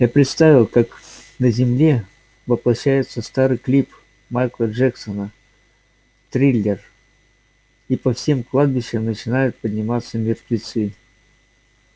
я представил как на земле воплощается старый клип майкла джексона триллер и по всем кладбищам начинают подниматься мертвецы